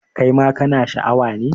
Kai ma kana Sha a wa ne?